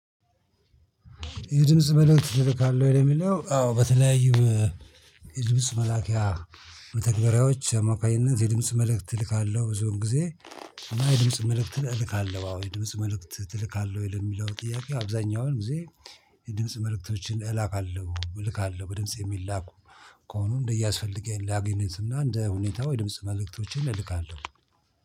የድምጽ መልእክት ትላካለህ ወይ ለሚለው? አዎ በተለያዩ የድምጽ መላኪያ በአማካኝነት የድምጽ መልእክት እልካለሁ ብዙውን ጊዜ የድምጽ መልእክት እልካለሁ። አዎ የድምጽ መልእክት ትልካለህ ወይ ለሚለው ጥያቄ? አብዛኛውን ጊዜ የድምጽ መልእክቶችን እላካለሁ እልካለሁ። በድምጽ የሚላኩ ከሆኑ እንደያ አስፈልገኝ ላግነት እና እንደ ሁኔታው የድምጽ መልእክቶችን እልካለሁ